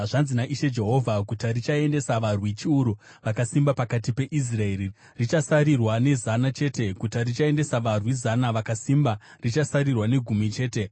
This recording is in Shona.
Zvanzi naIshe Jehovha: “Guta richaendesa varwi chiuru vakasimba pakati peIsraeri richasarirwa nezana chete; guta richaendesa varwi zana vakasimba richasarirwa negumi chete.”